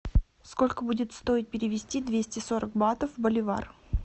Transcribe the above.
сколько будет стоить перевести двести сорок батов в боливар